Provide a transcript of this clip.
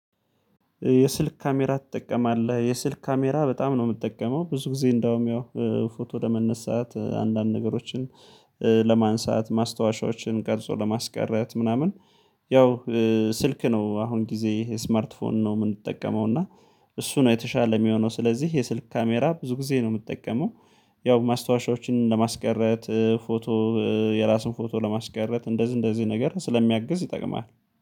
የስልክ ካሜራ ትጠቀማለህ? የስልክ ካሜራ በጣም ነው የምጠቀመው ብዙ ጊዜ እንደውም ያው ፎቶ ለመነሳት አንዳንድ ነገሮችን ለማንሳት ማስታወሻዎችን ቀርጾ ለማስቀረት ምናምን ያው ስልክ ነው አሁን ጊዜ የስማርት ፎን ነው የምንጠቀመው እና እሱ ነው የተሻለ የሚሆነው ስለዚህ የስልክ ካሜራ ብዙ ጊዜ ነው የምጠቀመው። ያው ማስታወሻዎችን ለማስቀረት ፎቶ የራሱን ፎቶ ለማስቀረት እንደዚህ እንደዚህ ነገር ስለሚያግዝ ይጠቅማል